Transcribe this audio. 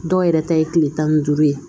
Dɔw yɛrɛ ta ye tile tan ni duuru ye